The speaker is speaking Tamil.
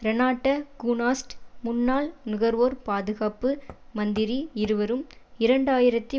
ரெனாட்ட கூனாஸ்ட் முன்னாள் நுகர்வோர் பாதுகாப்பு மந்திரி இருவரும் இரண்டாயிரத்தி